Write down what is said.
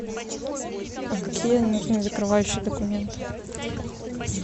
а какие нужны закрывающие документы